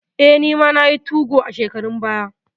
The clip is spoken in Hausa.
Eh, nima nayi 2go a shekarun baya.